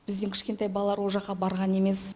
біздің кішкентай балалар ол жаққа барған емес